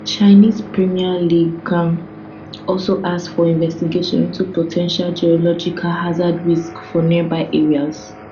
chinese premier li qiang also ask for investigation into po ten tial geological hazard risks for nearby areas